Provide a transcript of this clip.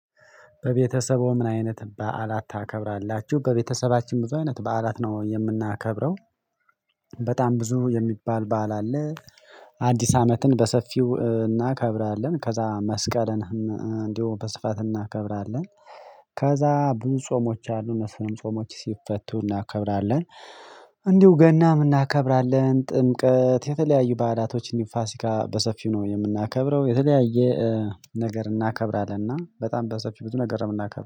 በቤተሰቡ ምን? አይነት በዓላት ታከብራላችሁ በቤተሰባችን ብዙ አይነት በዓላት ነው የምናከብረው። በጣም ብዙ የሚባል በዓል አለ። አዲስ አመትን በሰፊው እናከብራለን ከዛ መስቀልን። እንዲሁ በስፋት እናከብራለን። ከዛ ብዙ ጾሞች አሉ እነሱ ጾሞች ሲፈቱ እናከብራለን። እንዲሁ ገናም እናከብራለን ጥምቀት የተለያዩ ባህላቶች ፋሲካ በሰፊው ነው የምናከብረው። የተለያየ ነገር እናከብራለን እና በጣም በሰፊው ብዙ ነገር ነው የምናከብረው